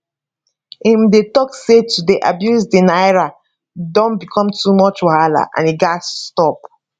im dey tok say to dey abuse di naira don become too much wahala and e gatz stop